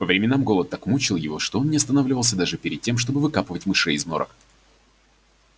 по временам голод так мучил его что он не останавливался даже перед тем чтобы выкапывать мышей из норок